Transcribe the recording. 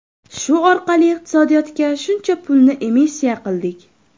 Shu orqali iqtisodiyotga shuncha pulni emissiya qildik.